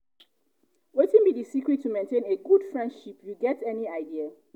wetin be di secret to maintain a good friendship you get any idea?